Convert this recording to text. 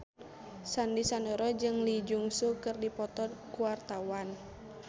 Sandy Sandoro jeung Lee Jeong Suk keur dipoto ku wartawan